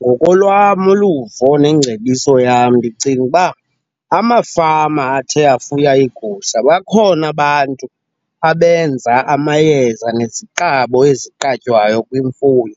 Ngokolwam uluvo nengcebiso yam ndicinga uba amafama athe afuya iigusha bakhona abantu abenza amayeza neziqabo eziqatywayo kwimfuyo.